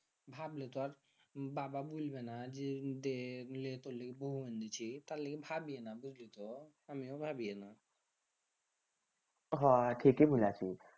ভাবলে তো আর বাবা বুলবেনা যে বৌ এনেছি তার লেগে ভাবিয়ে না বুঝলি তো আমিও ভাবিয়ে না হ ঠিকে বুলাচ্ছি